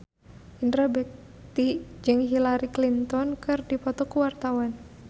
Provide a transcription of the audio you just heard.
Indra Bekti jeung Hillary Clinton keur dipoto ku wartawan